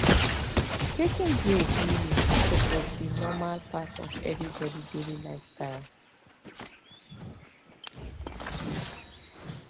taking break really suppose be normal part of everybody daily lifestyle